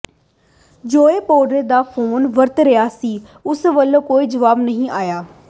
Joao Pedro ਦਾ phone ਵਰਤ ਰਿਹਾ ਸੀ ਉਸ ਵੱਲੋਂ ਕੋਈ ਜਵਾਬ ਨਹੀਂ ਆਇਆ